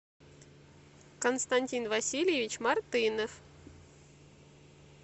константин васильевич мартынов